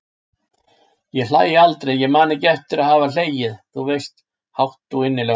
Ég hlæ aldrei, ég man ekki eftir að hafa hlegið- þú veist, hátt og innilega.